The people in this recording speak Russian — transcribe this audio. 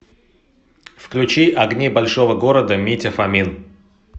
включи огни большого города митя фомин